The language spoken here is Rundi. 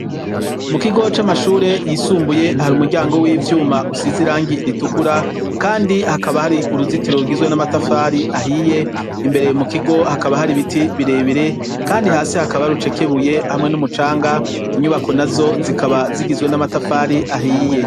Mu kigo c'amashure yisumbuye hari umuryango w'ivyuma usize irangi ritukura, kandi hakaba hari uruzitiro rugizwe n'amatafari ahiye; imbere mu kigo hakaba hari biti birebire kandi hasi hakaba urucekebuye hamwe n'umucanga. Inyubako na zo zikaba zigizwe n'amatafari ahiye.